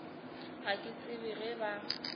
ga ke tsebe ge ba